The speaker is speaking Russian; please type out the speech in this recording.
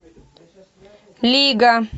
лига